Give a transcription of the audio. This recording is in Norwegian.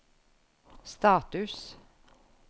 status